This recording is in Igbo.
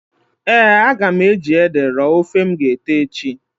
Eeǃ A ga m eji ede rọọ ofe m g'ete echi.